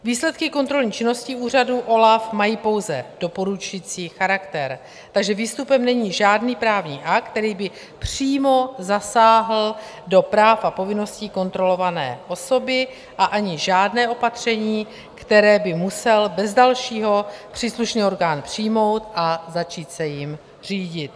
Výsledky kontrolní činnosti úřadu OLAF mají pouze doporučující charakter, takže výstupem není žádný právní akt, který by přímo zasáhl do práv a povinností kontrolované osoby, a ani žádné opatření, které by musel bez dalšího příslušný orgán přijmout a začít se jím řídit.